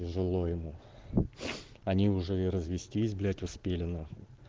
тяжело ему они уже и развестись блять успели нахуй